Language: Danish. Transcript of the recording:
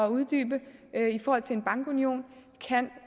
at uddybe i forhold til en bankunion